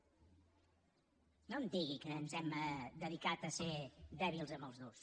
no em digui que ens hem dedicat a ser dèbils amb els durs